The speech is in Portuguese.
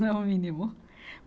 Não é o mínimo.